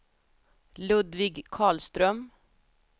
Ludvig Karlström